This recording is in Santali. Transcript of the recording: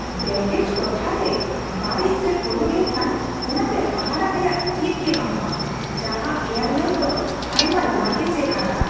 ᱵᱮᱹᱜᱮᱡ ᱴᱚᱴᱷᱟᱨᱮ ᱵᱟᱹᱲᱤᱡ ᱥᱮᱫ ᱠᱚᱭᱚᱜ ᱞᱮᱠᱷᱟᱱ, ᱚᱱᱟᱛᱮ ᱦᱟᱦᱟᱲᱟᱜ ᱨᱮᱭᱟᱜ ᱪᱮᱫ ᱜᱮ ᱵᱟᱹᱱᱩᱜᱼᱟ ᱡᱟᱦᱟᱸ ᱮᱭᱟᱨᱞᱟᱭᱤᱱ ᱫᱚ ᱟᱭᱢᱟ ᱞᱟᱜᱮᱡᱽᱼᱮ ᱟᱫᱟ ᱾